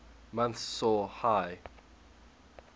months saw high